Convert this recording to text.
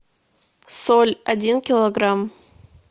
соль один килограмм